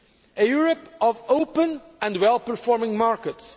a Europe of open and well performing markets